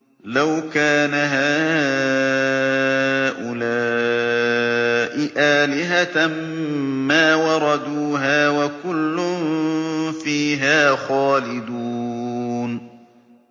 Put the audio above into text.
لَوْ كَانَ هَٰؤُلَاءِ آلِهَةً مَّا وَرَدُوهَا ۖ وَكُلٌّ فِيهَا خَالِدُونَ